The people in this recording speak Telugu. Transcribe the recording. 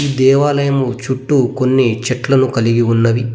ఈ దేవాలయము చుట్టూ కొన్ని చెట్లను కలిగి ఉన్నవి.